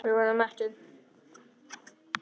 Við vorum mettir.